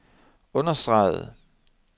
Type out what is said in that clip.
understregede